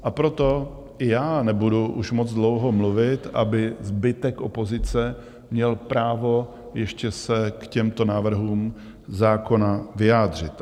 A proto i já nebudu už moc dlouho mluvit, aby zbytek opozice měl právo ještě se k těmto návrhům zákona vyjádřit.